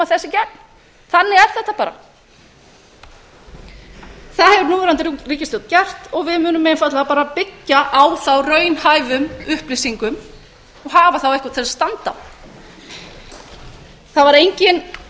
þetta bara það hefur núverandi ríkisstjórn gert og við munum einfaldlega bara byggja á þá raunhæfum upplýsingum og hafa þá eitthvað til að standa á það var enginn